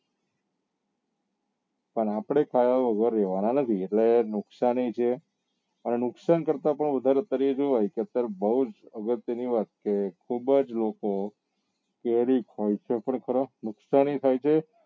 પણ આપડે ખાવા વગર રેવા ના નથી એટલે નુકસાની છે અને નુકસાન કરતા પણ વધારે જોવાય તો અત્યારે બઉ જ અગત્ય ની વાત કે ખુબ જ લોકો કેરી ખાય છે ખરા નુકસાની ખાય છે.